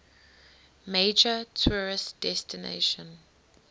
major tourist destination